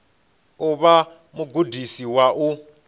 u vha mugudisi wa u